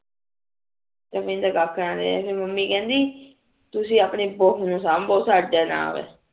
ਏਦਾ ਕੱਖ ਨਾ ਰਹੇ ਮੰਮੀ ਕਿਹੰਦੀ ਤੁਸੀਂ ਆਪਣੇ ਪੁੱਤ ਨੂ ਸਾਂਬੋ ਸਾਡੇ ਨਾਲ